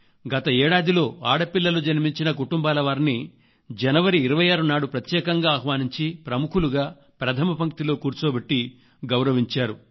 గత ఏడాదిలో ఆడపిల్లలు జన్మంచిన కుటుంబాల వారిని జనవరి 26 నాడు ప్రత్యేకంగా ఆహ్వానించి ప్రముఖులుగా ప్రథమ పంక్తిలో కూర్చొబెట్టి గౌరవించారు